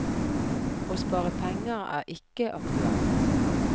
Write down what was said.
Å spare penger er ikke aktuelt.